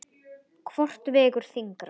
Hvort vegur þyngra?